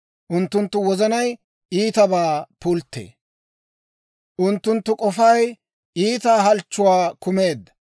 Unttunttu wozanay iitabaa pulttee. Unttunttu k'ofay iita halchchuwaa kumeedda.